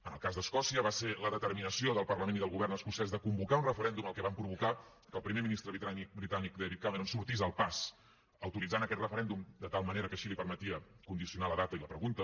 en el cas d’escòcia va ser la determinació del parlament i del govern escocès de convocar un referèndum el que va provocar que el primer ministre britànic david cameron sortís al pas autoritzant aquest referèndum de tal manera que així li permetia condicionar la data i la pregunta